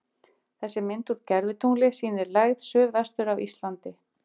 þessi mynd úr gervitungli sýnir lægð suðvestur af íslandi